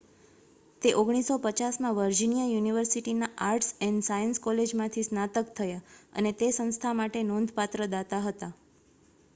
તે 1950 માં વર્જિનિયા યુનિવર્સિટીના આર્ટ્સ એન્ડ સાયન્સ કોલેજમાંથી સ્નાતક થયા અને તે સંસ્થા માટે નોંધપાત્ર દાતા હતા